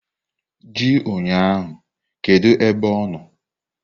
Ji ụnyahụ kedu ebe ọ nọ!